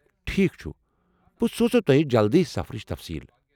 ٹھیک چُھ، بہٕ سوز تۄہہ جلدی سفرٕچ تفصیٖل ۔